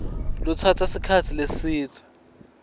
lutsatsa sikhatsi lesidze